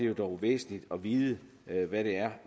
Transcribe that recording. det dog væsentligt at vide hvad det er